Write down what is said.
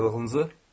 Bəs yaylığınızı?